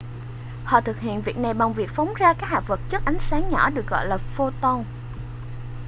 họ thực hiện việc này bằng việc phóng ra các hạt vật chất ánh sáng nhỏ được gọi là photon